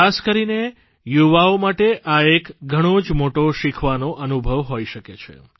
ખાસ કરીને યુવાઓ માટે આ એક ઘણો જ મોટો શીખવાનો અનુભવ હોઇ શકે છે